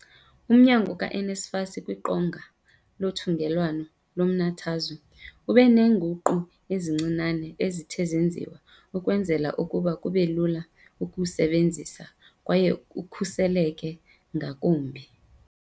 Umnyango ka-NSFAS kwiqonga lothungelwano lomnathazwe ube neenguqu ezincinane ezithe zenziwa ukwenzela ukuba kube lula ukuwusebe nzisa kwaye ukhuseleke ngakumbi.